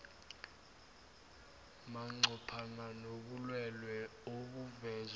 manqophana nobulwelwele obuvezwe